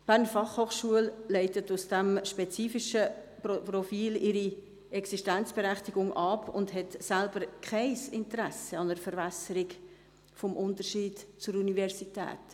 Die BFH leitet von diesem spezifischen Profil ihre Existenzberechtigung ab und hat selbst kein Interesse an einer Verwässerung des Unterschieds zur Universität.